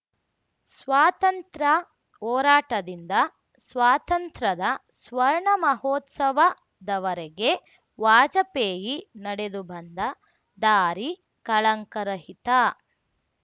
ಸ್ವಾತಂತ್ರ ಹೋರಾಟದಿಂದ ಸ್ವಾತಂತ್ರದ ಸ್ವರ್ಣ ಮಹೋತ್ಸವದವರೆಗೆ ವಾಜಪೇಯಿ ನಡೆದು ಬಂದ ದಾರಿ ಕಳಂಕ ರಹಿತ